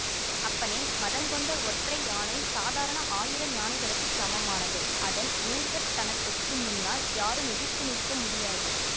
அப்பனே மதங்கொண்ட ஒற்றை யானை சாதாரண ஆயிரம் யானைகளுக்குச் சமமானது அதன் மூர்க்கத்தனத்துக்கு முன்னால் யாரும் எதிர்த்து நிற்க முடியாது